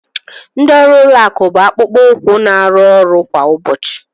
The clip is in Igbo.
Ndị ọrụ ụlọ akụ bụ akpụkpọ ụkwụ na-arụ ọrụ kwa ụbọchị.